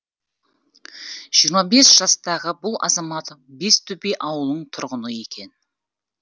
жиырма бес жастағы бұл азамат бестөбе ауылының тұрғыны екен